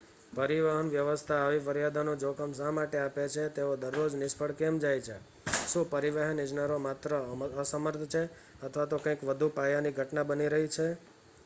પરિવહન વ્યવસ્થા આવી ફરિયાદોનું જોખમ શા માટે આપે છે તેઓ દરરોજ નિષ્ફળ કેમ જાય છે શું પરિવહન ઇજનેરો માત્ર અસમર્થ છે અથવા તો કંઈક વધુ પાયાની ઘટના બની રહી છે